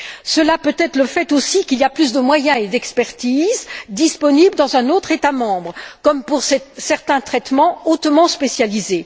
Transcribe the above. Cela peut être dû au fait, aussi, qu'il y a plus de moyens et d'expertises disponibles dans un autre État membre, comme pour certains traitements hautement spécialisés.